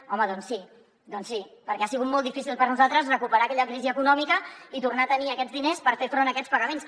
home doncs sí doncs sí perquè ha sigut molt difícil per nosaltres recuperar aquella crisi econòmica i tornar a tenir aquests diners per fer front a aquests pagaments